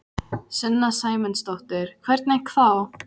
Sunna Sæmundsdóttir: Hvernig þá?